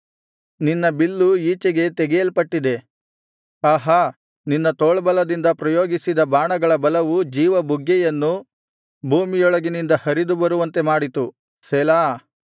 ನಿನ್ನ ಬಿಲ್ಲು ಈಚೆಗೆ ತೆಗೆಯಲ್ಪಟ್ಟಿದೆ ಆಹಾ ನಿನ್ನ ತೋಳ್ಬಲದಿಂದ ಪ್ರಯೋಗಿಸಿದ ಬಾಣಗಳ ಬಲವು ಜೀವಬುಗ್ಗೆಯನ್ನು ಭೂಮಿಯೊಳಗಿನಿಂದ ಹರಿದು ಬರುವಂತೆ ಮಾಡಿತು ಸೆಲಾ